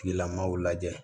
Tigilamaaw lajɛ